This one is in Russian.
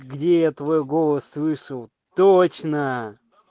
где я твой голос слышал точно